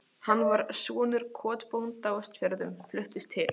Hann var sonur kotbónda á Austfjörðum, fluttist til